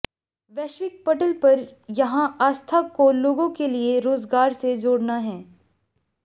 वैश्विक पटल पर यहां आस्था को लोगों के लिए रोजगार से जोड़ना है